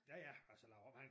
Ja ja altså laver om han